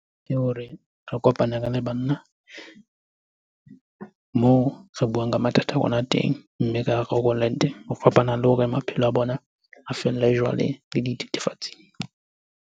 Ke hore re kopane re le banna. Moo re buang ka mathata a rona teng mme re a rarollang teng. Ho fapana le hore maphelo a bona a felle le jwaleng le dithethefatsing.